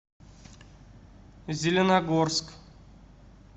зеленогорск